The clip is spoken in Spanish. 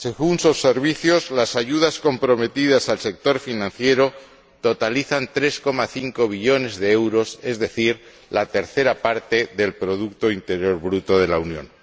Según sus servicios, las ayudas comprometidas al sector financiero totalizan 3,5 billones de euros, es decir, la tercera parte del producto interior bruto de la Unión.